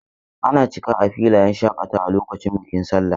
Ana cika a filayen shakatawa lokacin bikin sallah.